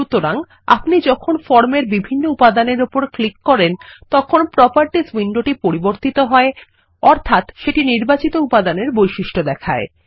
সুতরাং আপনি যখন ফর্মেরবিভিন্ন উপাদানের উপর ক্লিক করেন তখন প্রোপার্টিসউইন্ডোটি পরিবর্তিত হয় অর্থাত সেটি নির্বাচিতউপাদানেরবৈশিষ্ট্য দেখায়